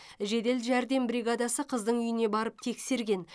жедел жәрдем бригадасы қыздың үйіне барып тексерген